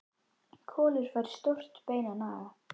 Kolur fær stórt bein að naga.